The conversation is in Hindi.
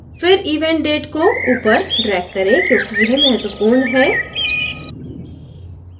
फिर event date को ऊपर drag करें क्योंकि यह महत्वपूर्ण है